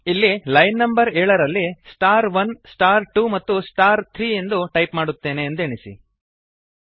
ಇಲ್ಲಿ line number ಏಳರಲ್ಲಿ star one star two ಮತ್ತು ಸ್ಟಾರ್ ಥ್ರೀ ಎಂದು ಟೈಪ್ ಮಾಡುತ್ತೇನೆ ಎಂದೆಣಿಸಿ